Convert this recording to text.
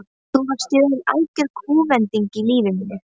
Þá varð í raun algjör kúvending á lífi mínu.